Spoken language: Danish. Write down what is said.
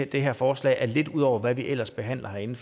det her forslag er lidt ud over hvad vi ellers behandler herinde